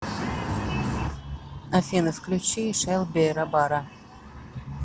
афина включи шелби рабара